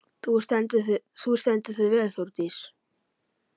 Þú stendur þig vel, Þórdís!